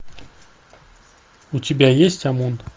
у тебя есть омон